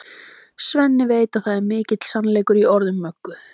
Svenni veit að það er mikill sannleikur í orðum Möggu.